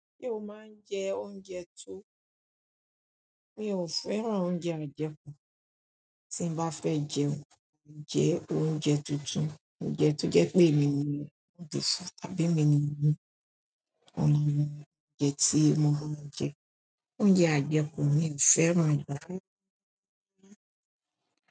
Ṣé o máa ń jẹ̀ oúnjẹ tó? Mi ò fẹ́ràn oúnjẹ àjẹkù. Tí n bá fẹ́ jẹun, mo máa ń jẹ oúnjẹ túntùn. Oúnjẹ tó jẹ́ pé emi ni mo dì sí tàbí mi ni mo lè mọ oúnjẹ tí mo máa ń jẹ. Oúnjẹ àjẹkù mi ò fẹ́ràn è rárá.